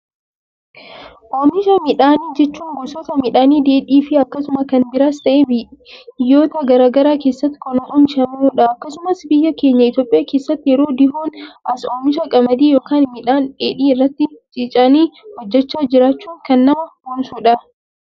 Oomisha midhaanii jechuun gosoota midhaanii dheedhii fi akkasuma kan biraas ta'ee biyyoota garaagaraa keessatti kan oomishamudha. akkasuma biyya keenya Itoophiyaa keessatti yeroo dhihoon as oomisha qamadii ykn midhaan dheedhii irratti ciichanii hojechaa jiraachuun kan nama boonsudha.